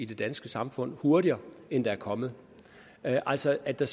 danske samfund hurtigere end der er kommet altså at der